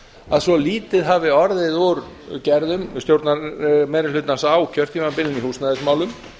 að svo lítið hafið orðið úr gerðum stjórnarmeirihlutans á kjörtímabilinu í húsnæðismálum